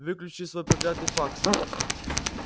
выключи свой проклятый факс